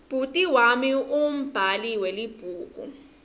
bhuti wami ungumbhali welibhuku